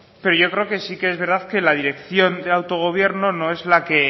pero yo creo que sí que es verdad que la dirección de autogobierno no es